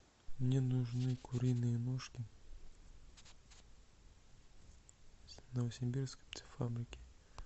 мне нужны куриные ножки с новосибирской птицефабрики